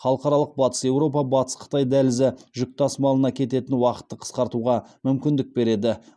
халықаралық батыс еуропа батыс қытай дәлізі жүк тасымалына кететін уақытты қысқартуға мүмкіндік береді